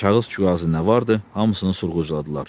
Kağız kuğazı nə vardı, hamısını sorğucladılar.